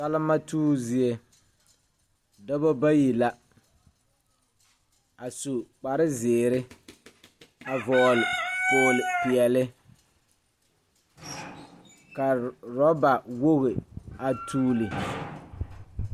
Salima tuubo zie dɔbɔ bayi la a su kaprezeere a vɔgle kpogle peɛle ka rɔba woge a tuule.